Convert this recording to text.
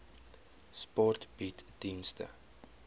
sport bied dienste